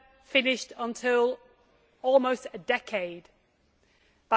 finished until almost a decade later.